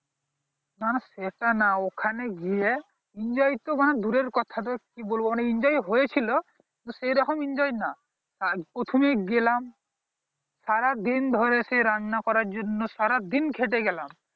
না সেটা না ওখানে গিয়ে enjoy তো বাঁড়া দূরের কথা কি বলবো মানে enjoy হয়ে ছিল সেই রকম enjoy না প্রথমে গেলাম সারা দিন ধরে সেই রান্না করার জন্য সারা দিন খেটে গেলাম